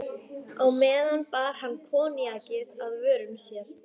meðan bar hann koníakið að vörum sér.